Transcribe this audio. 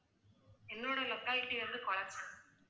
என்னோட locality வந்து குளச்சல்